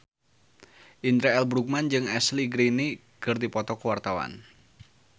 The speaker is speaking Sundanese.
Indra L. Bruggman jeung Ashley Greene keur dipoto ku wartawan